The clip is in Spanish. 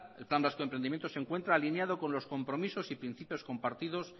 el plan vasco de emprendimiento se encuentra alineado con los compromisos y principios compartido